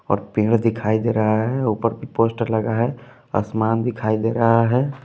और पेड़ दिखाई दे रहा है ऊपर भी पोस्टर लगा है आसमान दिखाई दे रहा है।